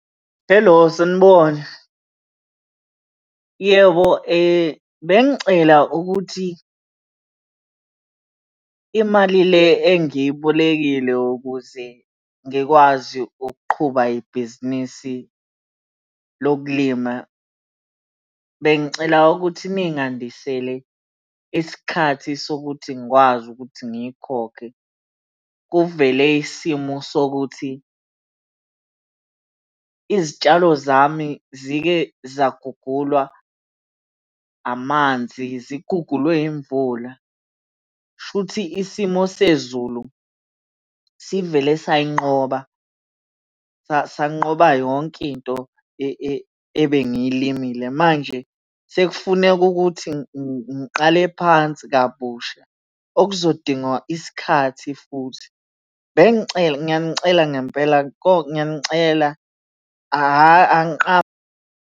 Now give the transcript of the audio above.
Helo, sanibona. Yebo, bengicela ukuthi imali le engiyibolekile ukuze ngikwazi ukuqhuba ibhizinisi lokulima, bengicela ukuthi ningandisele isikhathi sokuthi ngikwazi ukuthi ngiyikhokhe. Kuvele isimo sokuthi izitshalo zami zike zagugulwa amanzi, zigugulwe imvula. Shuthi isimo sezulu sivele sayinqoba sanqoba yonke into ebengilimile manje sekufuneka ukuthi ngiqale phansi kabusha, okuzodinga isikhathi futhi. Bengicela ngiyanicela ngempela ngiyanicela, .